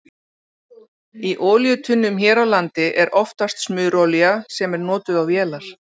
Í olíutunnum hér á landi er oftast smurolía sem er notuð á vélar.